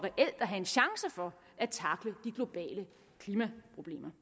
at have en chance for at tackle de globale klimaproblemer